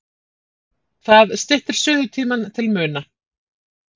Það styttir suðutímann til muna.